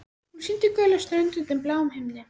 Hún sýndi gula strönd undir bláum himni.